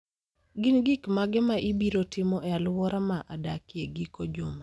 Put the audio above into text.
Gin gik mage ma ibiro timo e alwora ma adakie e giko juma?